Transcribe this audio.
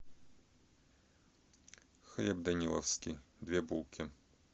хлеб даниловский две булки